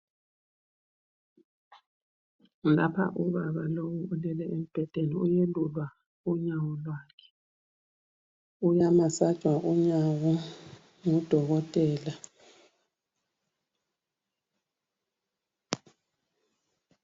Lapha ubaba lowu ulele embhedeni. Uyelulwa unyawo lwakhe. Uyamasajwa unyawo ngudokotela.